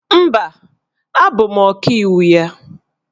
Mba, abụ m Ọkaiwu ya